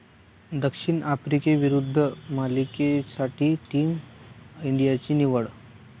दक्षिण आफ्रिकेविरुद्ध मालिकेसाठी टीम इंडियाची निवड